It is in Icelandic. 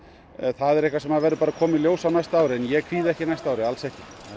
það er eitthvað sem verður bara að koma í ljós á næsta ári en ég kvíði ekki næsta ári alls ekki